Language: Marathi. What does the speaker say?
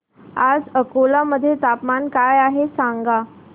आज अकोला मध्ये तापमान काय आहे सांगा